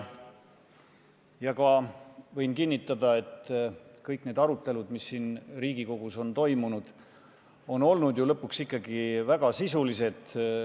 Ma võin kinnitada, et kõik need arutelud, mis siin Riigikogus on toimunud, on olnud ju lõpuks ikkagi väga sisulised.